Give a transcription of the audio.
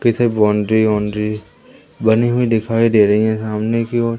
पीछे बाउंड्री वाउंड्री बनी हुई दिखाई दे रही है सामने की ओर--